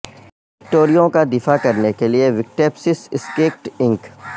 وکٹوریوں کا دفاع کرنے کے لئے وکٹپسس اسکیکٹ انک